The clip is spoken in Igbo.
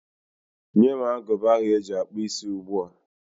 Nye m agụba ahụ eji akpụ isí ugbu a!